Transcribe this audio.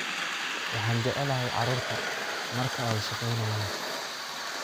Waxaan jeclahay carruurta markaa ay shaqeeynayan.